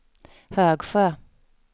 Högsjö